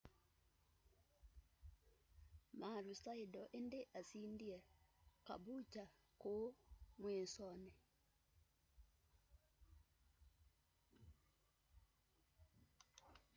maroochydore indi asindie caboolture kuu mwisoni